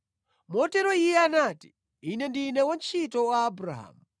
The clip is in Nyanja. Motero iye anati, “Ine ndine wantchito wa Abrahamu.